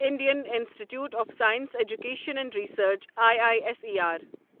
Indian Institute of Science Education and Research I I S E R